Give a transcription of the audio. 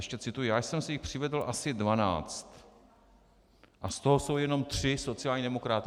Ještě cituji: Já jsem si jich přivedl asi 12 a z toho jsou jenom tři sociální demokraté.